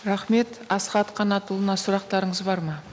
рахмет асхат қанатұлына сұрақтарыңыз бар ма